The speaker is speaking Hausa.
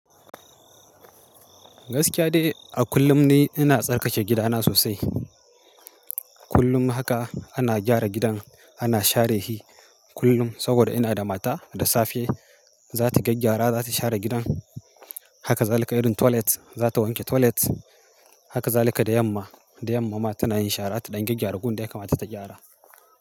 Gaskiya dai, a kullum ni ina tsarkake gidana sosai. Kullum haka ana gyara gidan, ana share shi kullum, saboda ina da mata da safe za ta gaggyara, za ta share gidan. Haka zalika irin toilet, za ta wanke toilet. Haka zalika da yamma, da yamma ma tana yin shara ta ɗan gyaggyara gun da ya kamata ta gyara.